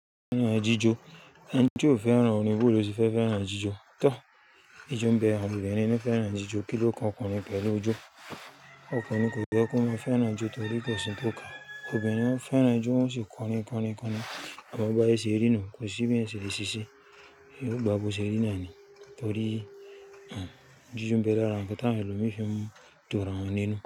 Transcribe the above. Fẹ́ràn jíjó, ẹni tí ó fẹ́ràn orin báwo ló ṣe fẹ́ fẹ́ràn àjíjó. Tọ́, ijó ń bẹ àwọn obìnrin ni fẹ́ràn jíjó. Kí ló kan ọkùnrin pẹ̀lú ijó? Ọkùnrin kò yẹ kó má fẹ́ràn ijó torí kò sí ń tọ́ka. Obìnrin fẹ́ràn ijó wọ́n sì kọrin kọrin kọrin. Àmọ́ baiye se rí nu kò sí bí ẹsẹ̀ le ṣíṣe, yóò gba bó sè rí nà ni torí ijó ń bẹ lára, ǹkan tá wọn elo mí fi ń du ra wọn nínú.